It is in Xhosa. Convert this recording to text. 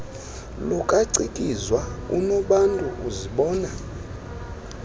lukacikizwa unobantu uzibona